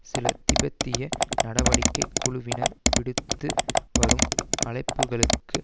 சில திபெத்திய நடவடிக்கை குழுவினர் விடுத்து வரும் அழைப்புகளுக்கு